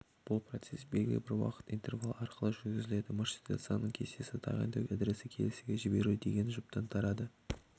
бұл процесс белгілі бір уақыт интервалы арқылы жүргізіледі маршрутизацияның кестесі тағайындау адресі келесіге жіберу деген жұптан тұрады